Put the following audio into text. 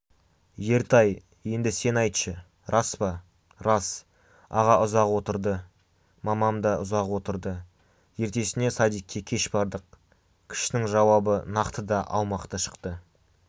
ертай енді сен айтшы рас па лас аға ұзақ отылды мамамдал да ұзақ отылды елтесіне садикке кеш балдық кішісінің жауабы нақты да аумақты шықты